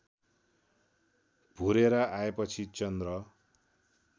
भुरेर आएपछि चन्द्र